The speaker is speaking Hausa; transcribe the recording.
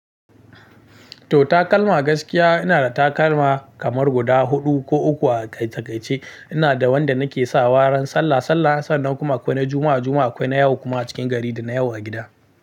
To takalma gaskiya ina da takalma kamar guda huɗu ko uku a taƙaice ina da wanda nake sawa ran sallah sallah, sannan kuma akwai na Juma'a, Juma'a akwai na yau kuma a cikin gari da na yau a gida.